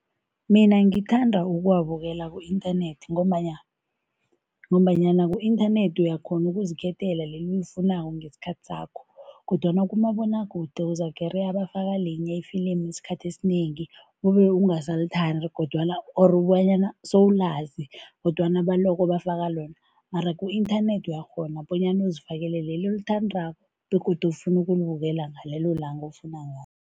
Mina ngithanda ukuwabukela ku-internet ngombana ngombanyana ku-inthanethi uyakghona ukuzikhethela leli olifunako ngesikhathi sakho kodwana kumabonwakude uzakereya bafaka linye ifilimui isikhathi esinengi, kube ungasalithandi kodwana or kobanyana sowulazi kodwana baloko bafaka lona mara ku-inthanethi uyakghona bonyana uzifakele leli olithandako begodu ofuna ukubukela ngalelo langa ofuna ngalo.